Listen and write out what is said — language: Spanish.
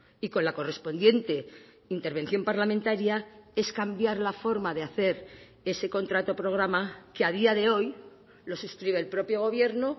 y con la correspondiente intervención parlamentaria es cambiar la forma de hacer ese contrato programa que a día de hoy lo suscribe el propio gobierno